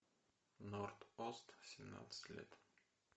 норд ост семнадцать лет